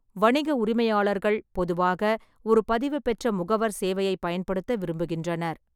வணிக உரிமையாளர்கள் பொதுவாக ஒரு பதிவுபெற்ற முகவர் சேவையை பயன்படுத்த விரும்புகின்றனர்.